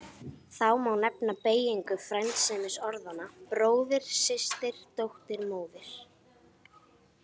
Þá má nefna beygingu frændsemisorðanna bróðir, systir, dóttir, móðir.